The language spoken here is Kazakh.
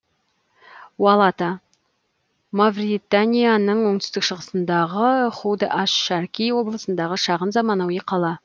уалата мавританияның оңтүстік шығысындағы худ аш шарки облысындағы шағын заманауи қала